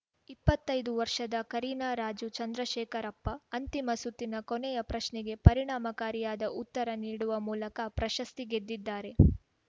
ಇಪ್ಪತ್ತೈದು ವರ್ಷದ ಕರೀನಾ ರಾಜು ಚಂದ್ರಶೇಖರಪ್ಪ ಅಂತಿಮ ಸುತ್ತಿನ ಕೊನೆಯ ಪ್ರಶ್ನೆಗೆ ಪರಿಣಾಮಕಾರಿಯಾದ ಉತ್ತರ ನೀಡುವ ಮೂಲಕ ಪ್ರಶಸ್ತಿ ಗೆದ್ದಿದ್ದಾರೆ